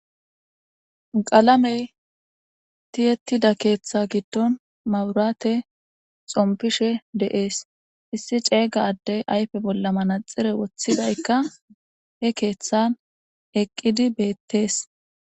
Qalame ti'etida ketha giidon mabirate xopishe de'es issi cega adey ayipey bolla manaxire wothizayika he kethan eqidi betes